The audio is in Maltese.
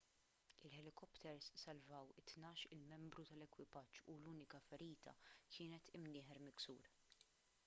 il-ħelikopters salvaw it-tnax-il membru tal-ekwipaġġ u l-unika ferita kienet imnieħer miksur